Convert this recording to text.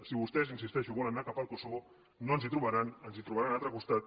si vostès insisteixo volen anar cap al kosovo no ens hi trobaran ens trobaran a l’altre costat